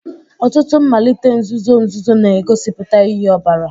Ọtụtụ mmalite nzuzo nzuzo na-egosipụta iyi ọbara